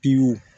Piki